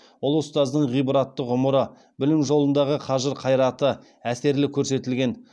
ұлы ұстаздың ғибратты ғұмыры білім жолындағы қажыр қайраты әсерлі көрсетілген